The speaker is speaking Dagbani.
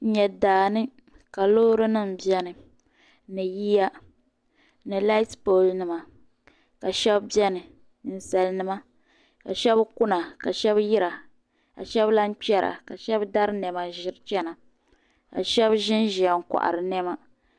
N nyɛ daani. ka lɔɔri nim be ni, ni yiya ni laati pooli nima ka shab beni, nin salinima kashab kuna kashabi yira kashabi lan kpera ka shabi dari nema n ʒiri chana ka.shabi. ʒɛnʒɛya n kohiri nema.